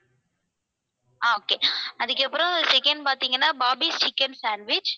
ஆஹ் okay அதுக்கப்புறம் second பாத்தீங்கன்னா barbecue chicken sandwich